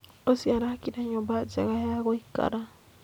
Ũcio arakire nyũmba njega ya gũikara